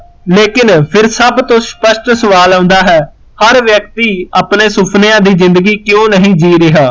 ਲੇਕਿਨ ਫਿਰ ਸਭ ਤੋਂ ਸਪਸ਼ਟ ਸਵਾਲ ਆਉਂਦਾ ਹੈ ਹਰ ਵਿਅਕਤੀ ਆਪਣੇ ਸੁਪਨਿਆਂ ਦੀ ਜਿੰਦਗੀ ਕਿਊ ਨਹੀਂ ਜੀ ਰਿਹਾ